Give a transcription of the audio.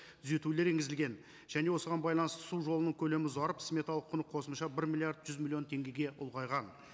түзетулер енгізілген және осыған байланысты су жолының көлемі ұзарып сметалық құны қосымша бір миллиард жүз миллион теңгеге ұлғайған